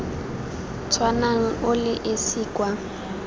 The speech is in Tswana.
tshwanang o le esi kwa